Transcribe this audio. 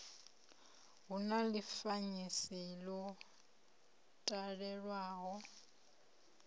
hu na ḽifanyisi ḽo talelwaho